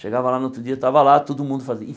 Chegava lá no outro dia, estava lá, todo mundo